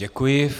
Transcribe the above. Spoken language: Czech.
Děkuji.